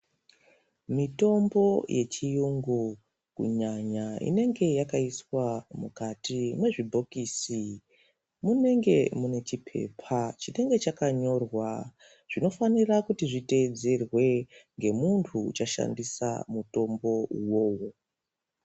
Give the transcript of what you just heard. Mitombo yechiyungu kunyanya inenge yakaiswa mukati mwezvibhokisi munenge mune chipepa chinenge chakanyorwa zvinofanira kuti zviteedzerwe ngemuntu uchadhandosa mutombo uwowo.